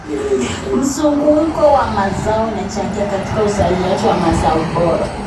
Mzunguko wa mazao unachangia katika uzalishaji wa mazao bora.